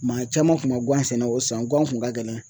Maa caman kun man guwan sɛnɛ o san guwan kun ka gɛlɛn.